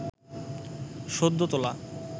সদ্য তোলা